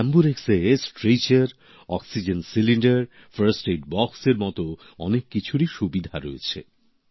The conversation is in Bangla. এম্বুরেক্স এ stretcher oxygen cylinder first aid বক্সের এর মত অনেক কিছুরই সুবিধা রয়েছে